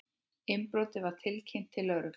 Innbrotið var tilkynnt til lögreglu